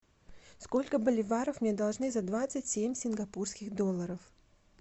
сколько боливаров мне должны за двадцать семь сингапурских долларов